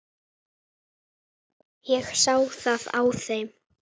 Ég sá það á þeim.